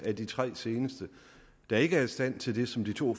af de tre seneste der ikke er i stand til det som de to